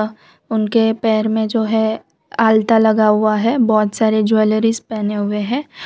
उनके पैर में जो है आलता लगा हुआ है बहुत सारे ज्वेलरीज पेहने हुए हैं।